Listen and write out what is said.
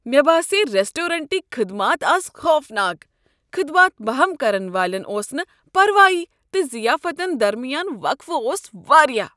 مےٚ باسییہِ ریسٹورینٹٕكۍ خدمات از خوفناک۔ خدمات بہم كرن والٮ۪ن اوس نہ پرواے تہٕ ضِیافتن درمیان وقفہٕ اوس واریاہ۔